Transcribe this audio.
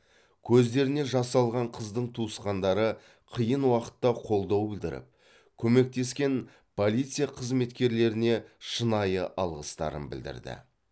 көздеріне жас алған қыздың туысқандары қиын уақытта қолдау білдіріп көмектескен полиция қызметкерлеріне шынайы алғыстарын білдірді